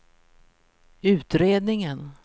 utredningen